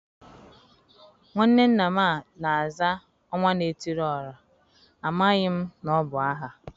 nwanne nna m a na-aza Onwa na etiri ora, ,amaghị m na ọ bụ aha.